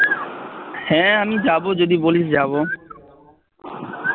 হ্যাঁ আমি যাবো যদি বলিস যাবো